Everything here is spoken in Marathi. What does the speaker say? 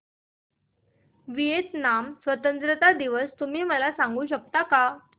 व्हिएतनाम स्वतंत्रता दिवस तुम्ही मला सांगू शकता का